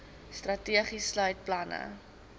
strategie sluit planne